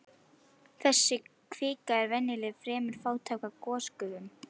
Þessi kvika er venjulega fremur fátæk af gosgufum.